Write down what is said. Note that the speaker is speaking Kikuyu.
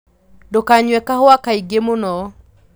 Ndũkanyue kahũa kaingĩmũno.